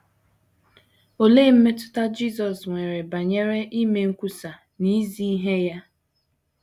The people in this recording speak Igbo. Olee mmetụta Jisọs nwere banyere ime nkwusa na izi ihe ya?